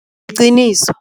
Qiniso.